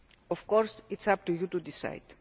Of course it is up to you to decide,